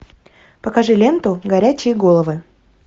покажи ленту горячие головы